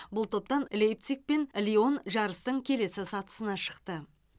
бұл топтан лейпциг пен лион жарыстың келесі сатысына шықты